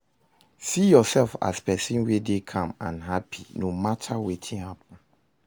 see urself as pesin wey dey calm and hapi no mata wetin happen